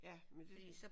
Ja men det